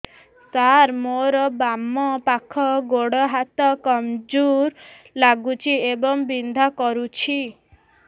ସାର ମୋର ବାମ ପାଖ ଗୋଡ ହାତ କମଜୁର ଲାଗୁଛି ଏବଂ ବିନ୍ଧା କରୁଛି